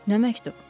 Nə məktub?